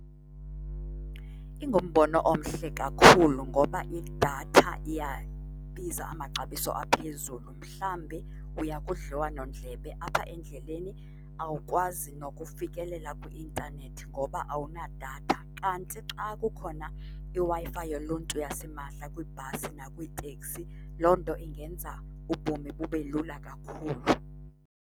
Ingumbono omhle kakhulu ngoba idatha iyabiza amaxabiso aphezulu. Mhlawumbe uya kudliwanondlebe apha endleleni, awukwazi nokufikelela kwi-intanethi ngoba awunadatha. Kanti xa kukhona iWi-Fi yoluntu yasimahla kwiibhasi nakwiitekisi, loo nto ingenza ubomi bube lula kakhulu.